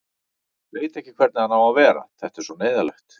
Veit ekki hvernig hann á að vera, þetta er svo neyðarlegt.